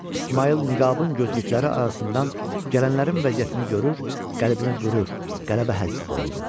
İsmayıl niqabın gözlükləri arasından gələnlərin vəziyyətini görür, qəlbinə qürur, qələbə həzzi dolurdu.